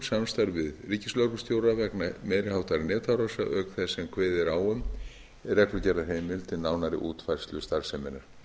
öryggisatvikum samstarf við ríkislögreglustjóra vegna meiri háttar netárása auk þess sem kveðið er á um í reglugerðarheimild um nánari útfærslu starfseminnar